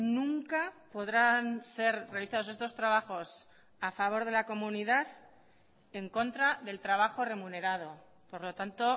nunca podrán ser realizados estos trabajos a favor de la comunidad en contra del trabajo remunerado por lo tanto